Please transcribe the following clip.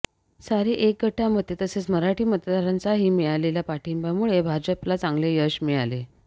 सारी एकगठ्ठा मते तसेच मराठी मतदारांचाही मिळालेल्या पाठिंब्यामुळे भाजपला चांगले यश मिळाले